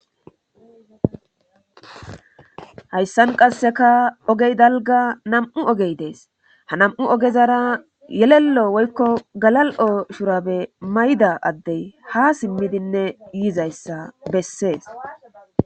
Hayssan qasseka ogey dalga nam'u ogey dees ha nam'u ogezara yelello woykko galal'o shurabe mayda addey ha simmidinne yiizayssa bessees.